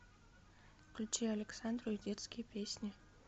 включи александру и детские песни